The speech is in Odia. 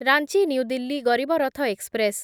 Ranchi New Delhi Garib Rath express